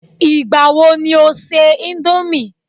Igbawo ni o ṣe Indomie